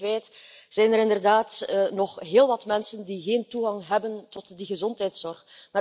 Wereldwijd zijn er inderdaad nog heel wat mensen die geen toegang hebben tot de gezondheidszorg.